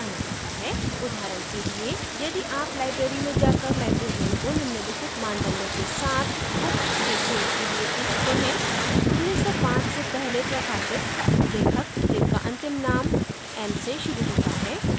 उदाहरण के लिए यदि आप library में जाकर librarian को निम्नलिखित मानदंडो के साथ books के for के लिए पूछते है 1905 से पहले प्रकाशित लेखक जिनका अंतिम नाम m से शुरू होता है